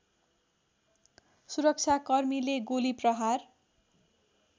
सुरक्षाकर्मीले गोली प्रहार